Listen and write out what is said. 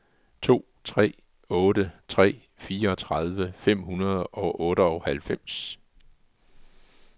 to tre otte tre fireogtredive fem hundrede og otteoghalvfems